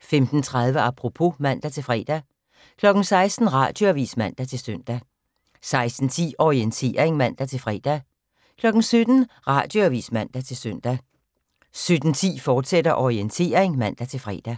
15:30: Apropos (man-fre) 16:00: Radioavis (man-søn) 16:10: Orientering (man-fre) 17:00: Radioavis (man-søn) 17:10: Orientering, fortsat (man-fre)